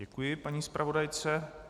Děkuji paní zpravodajce.